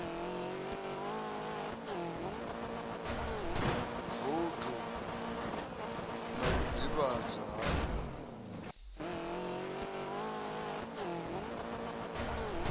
voutu na u ḓivhadzwa ha